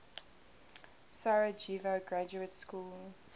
sarajevo graduate school